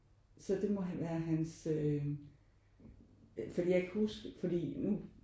Så det må være hans øh fordi jeg kan huske fordi nu